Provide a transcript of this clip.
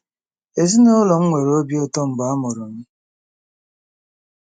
Ezinụlọ m nwere obi ụtọ mgbe a mụrụ m.